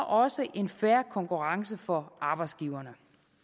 også en fair konkurrence for arbejdsgiverne